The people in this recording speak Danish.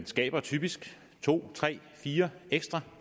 skaber typisk to tre fire ekstra